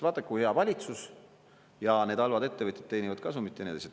Vaata, kui hea valitsus, aga need halvad ettevõtted teenivad kasumit!